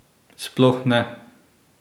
Sploh ne!